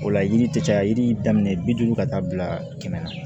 O la yiri tɛ caya yiri daminɛ bi duuru ka taa bila kɛmɛ na